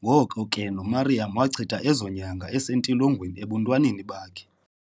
ngoko ke no Miriam wachitha ezonyanga esentilogweni, ebuntwaneni bakhe